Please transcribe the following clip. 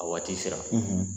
A waati sera